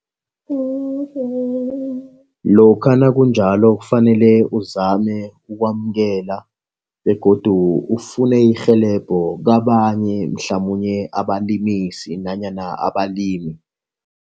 Lokha nakunjalo kufanele uzame ukwamukela begodu ufune irhelebho kabanye mhlamunye abalimisi nanyana abalimi.